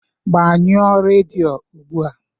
Gbanyụọ redio ugbu a